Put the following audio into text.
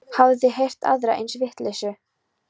Hafið þið heyrt aðra eins vitleysu?